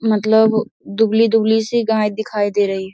मतलब दुबली-दुबली सी गाय दिखाई दे रही है।